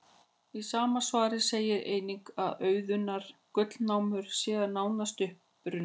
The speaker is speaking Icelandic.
Í sama svari segir einnig að auðunnar gullnámur séu nánast uppurnar.